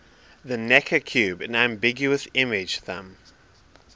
the necker cube an ambiguous image thumb